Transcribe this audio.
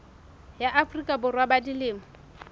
ya afrika borwa ba dilemo